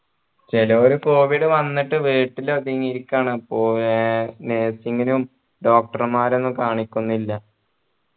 ചിലോർ covid വന്നിട്ട് വീട്ടില് ഒതുങ്ങി ഇരിക്കാണ് ഏർ nursing നും doctor മാരെ ഒന്ന് കാണികൊന്നില്ല